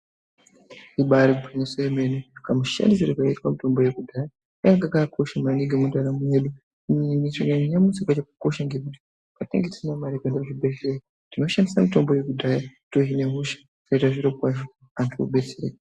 Imba iri gwinyiso yemene, kamushandisirwo kaiitwe mitombo yekudhaya kange kakakosha maningi mundaramo yedu. Nanyamushi yakakosha ngekuti petinenge tisina mari yekuenda kuchibhedhlera tinoshandisa mitombo yekudhaya tohine hosha, zvoite zviro kwazvo, antu odetsereka.